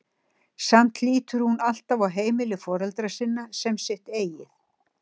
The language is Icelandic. Samt lítur hún alltaf á heimili foreldra sinna sem sitt eigið.